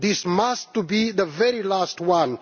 This must be the very last one.